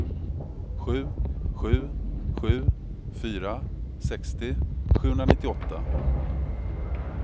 sju sju sju fyra sextio sjuhundranittioåtta